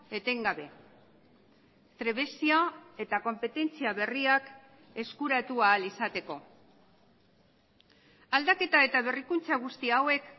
etengabe trebezia eta konpetentzia berriak eskuratu ahal izateko aldaketa eta berrikuntza guzti hauek